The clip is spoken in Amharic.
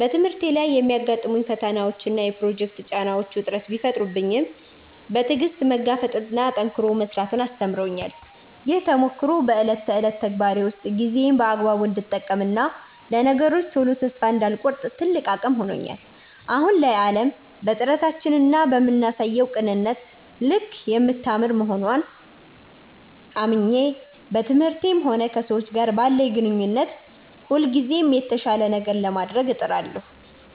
በትምህርቴ ላይ የሚያጋጥሙኝ ፈተናዎችና የፕሮጀክት ጫናዎች ውጥረት ቢፈጥሩብኝም፣ በትዕግሥት መጋፈጥንና ጠንክሮ መሥራትን አስተምረውኛል። ይህ ተሞክሮ በዕለት ተዕለት ተግባሬ ውስጥ ጊዜዬን በአግባቡ እንድጠቀምና ለነገሮች ቶሎ ተስፋ እንዳልቆርጥ ትልቅ አቅም ሆኖኛል። አሁን ላይ ዓለም በጥረታችንና በምናሳየው ቅንነት ልክ የምታምር መሆንዋን አምኜ፣ በትምህርቴም ሆነ ከሰዎች ጋር ባለኝ ግንኙነት ሁልጊዜም የተሻለ ነገር ለማድረግ እጥራለሁ።